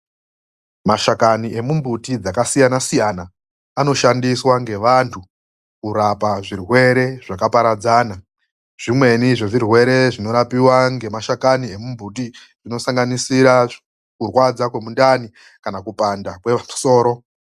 Mashakani emumbuti dzakasiyana-siyana anoshandiswa ngevantu kurapa zvirwere zvakaparadzana zvimweni ,zvezvirwere zvinorapiwa ngemashakani emumbuti zvinosanganisira kurwadza kwemundani kana kupanda kwesoro.